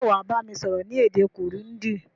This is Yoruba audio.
Sé wàá bámi sọ́rọ́ ni èdè Kirundi